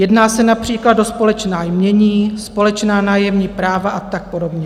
Jedná se například o společná jmění, společná nájemní práva a tak podobně.